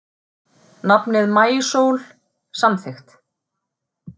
Nafnið Maísól samþykkt